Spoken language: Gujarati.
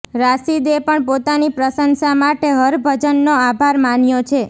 રાશિદે પણ પોતાની પ્રશંસા માટે હરભજનનો આભાર માન્યો છે